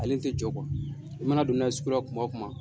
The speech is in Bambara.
Ale tɛ jɔ i mana don n'a ye sugu la kuma o kuma.